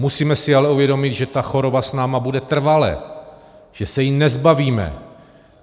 Musíme si ale uvědomit, že ta choroba s námi bude trvale, že se jí nezbavíme.